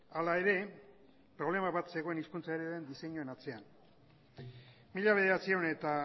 hala ere problema bat zegoen hizkuntzaren diseinuen atzean mila bederatziehun eta